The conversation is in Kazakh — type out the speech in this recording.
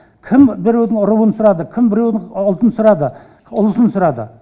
кім біреудің руын сұрады кім біреудің ұлтын сұрады ұлысын сұрады